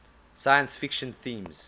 science fiction themes